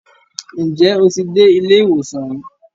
Ǹjẹ́ o ti dé ilé ìwòsàn rí?